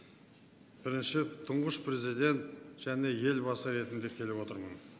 бірінші тұңғыш президент және елбасы ретінде келіп отырмын